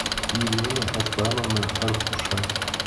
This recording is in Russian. елена аслановна аркуша